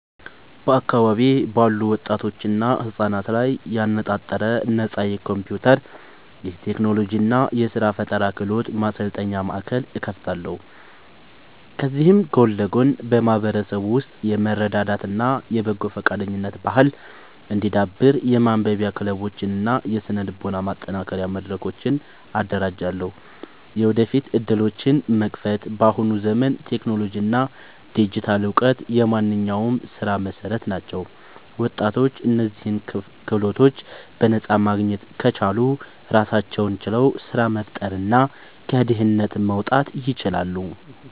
በአካባቢዬ ባሉ ወጣቶችና ህጻናት ላይ ያነጣጠረ ነፃ የኮምፒውተር፣ የቴክኖሎጂ እና የስራ ፈጠራ ክህሎት ማሰልጠኛ ማእከል እከፍታለሁ። ከዚህም ጎን ለጎን በማህበረሰቡ ውስጥ የመረዳዳት እና የበጎ ፈቃደኝነት ባህል እንዲዳብር የማንበቢያ ክለቦችን እና የስነ-ልቦና ማጠናከሪያ መድረኮችን አደራጃለሁ። የወደፊት ዕድሎችን መክፈት፦ በአሁኑ ዘመን ቴክኖሎጂ እና ዲጂታል እውቀት የማንኛውም ስራ መሰረት ናቸው። ወጣቶች እነዚህን ክህሎቶች በነፃ ማግኘት ከቻሉ ራሳቸውን ችለው ስራ መፍጠርና ከድህነት መውጣት ይችላሉ።